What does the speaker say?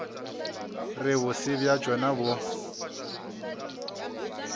re bose bja tšona bo